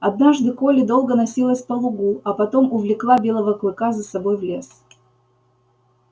однажды колли долго носилась но лугу а потом увлекла белого клыка за собой в лес